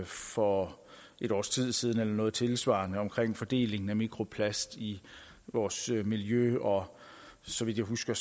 for et års tid siden eller noget tilsvarende omkring fordelingen af mikroplast i vores miljø og så vidt jeg husker